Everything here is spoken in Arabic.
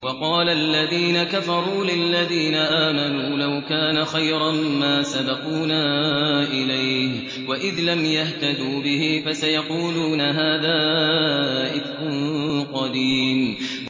وَقَالَ الَّذِينَ كَفَرُوا لِلَّذِينَ آمَنُوا لَوْ كَانَ خَيْرًا مَّا سَبَقُونَا إِلَيْهِ ۚ وَإِذْ لَمْ يَهْتَدُوا بِهِ فَسَيَقُولُونَ هَٰذَا إِفْكٌ قَدِيمٌ